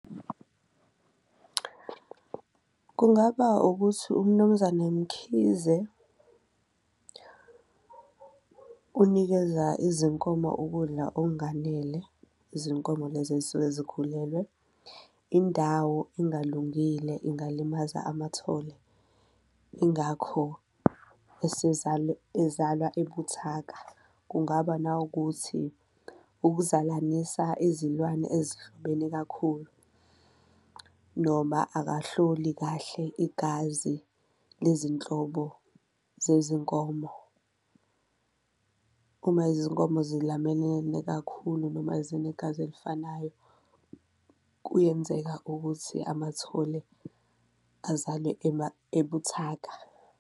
Kungaba ukuthi uMnumzane Mkhize unikeza izinkomo ukudla okunganele izinkomo lezi ezisuke zikhulelwe, indawo engalungile ingalimaza amathole ingakho ezalwa ebuthaka. Kungaba nawukuthi ukuzalanisa izilwane ezihlobene kakhulu noma akahloli kahle igazi lezinhlobo zezinkomo. Uma izinkomo kakhulu noma zinegazi elifanayo, kuyenzeka-ke ukuthi amathole azale ebuthaka.